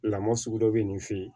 Lamɔ sugu dɔ bɛ nin fɛ yen